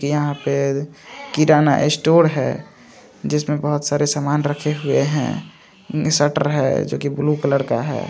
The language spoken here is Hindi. की यहाँ पे किराना स्टोर है। जिसमे बोहोत सारे सामान रखे हुए है। स्टर है। जो की ब्लू कलर का है।